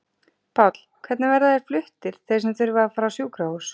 Páll: Hvernig verða þeir fluttir þeir sem þurfa að fara á sjúkrahús?